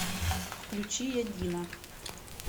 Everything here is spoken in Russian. включи я дина